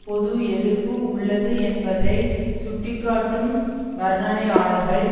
பொது எதிர்ப்பு உள்ளது என்பதை சுட்டிக்காட்டும் வர்ணனையாளர்கள்